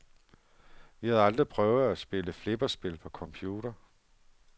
Vi havde aldrig prøvet at spille flipperspil på computer.